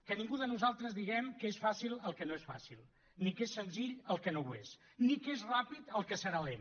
que ningú de nosaltres diguem que és fàcil el que no és fàcil ni que és senzill el que no ho és ni que és ràpid el que serà lent